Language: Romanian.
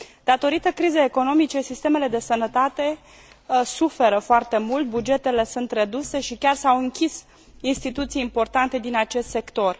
Datorită crizei economice, sistemele de sănătate suferă foarte mult, bugetele sunt reduse și chiar s au închis instituții importante din acest sector.